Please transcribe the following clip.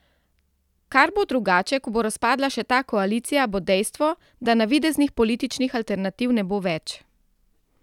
Kar bo drugače, ko bo razpadla še ta koalicija, bo dejstvo, da navideznih političnih alternativ ne bo več.